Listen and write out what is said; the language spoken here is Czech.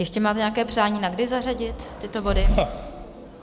Ještě máte nějaké přání na kdy zařadit tyto body?